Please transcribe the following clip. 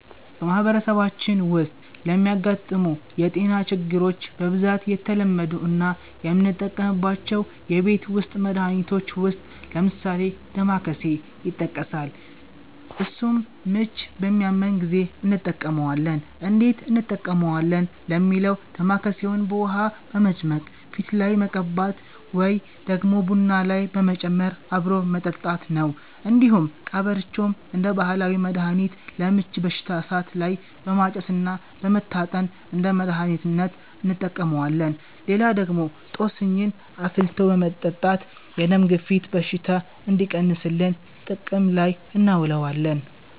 በማህበረሰባችን ዉስጥ ለሚያጋጥሙ የ ጤና ችግሮች በ ብዛት የተለመዱ እና የምንጠቀምባቸው የቤት ዉስት መድሀኒቶች ዉስጥ ለምሳሌ ደማከሴ ይተቀሳል እሱንም ምቺ በሚያመን ጊዜ እንተቀመዋለን እንዴት እንጠቀመዋለን ለሚለው ደማከሴውን በ ዉሀ በመጭመቅ ፊት ላይ መቀባት ወይ ደግሞ ቡና ላይ በመጨመር አብሮ መጠጣት ነው። እንዲሁም ቀበርቾም እንደ ባህላዊ መድሀኒት ለ ምቺ በሽታ እሳት ላይ በማጨስ እና በመታጠን እንደ መድሀኒትነት እንተቀመዋለን። ሌላ ደግሞ ጦስኝን አፍልቶ በመጠታት የ ደም ግፊት በሽታ እንዲቀንስልን ጥቅም ላይ እናውለዋለን።